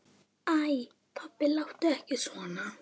Heldur hvað?